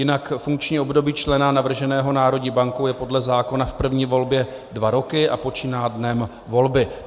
Jinak funkční období člena navrženého národní bankou je podle zákona v první volbě dva roky a počíná dnem volby.